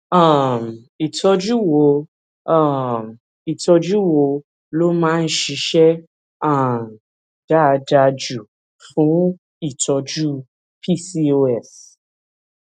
um ìtójú wo um ìtójú wo ló máa ń ṣiṣé um dáadáa jù fún ìtọjú pcos